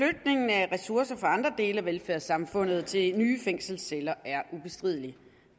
af ressourcer fra andre dele af velfærdssamfundet til nye fængselsceller er ubestrideligt